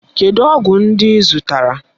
Kedụ ọgwụ ndị ị zụtara?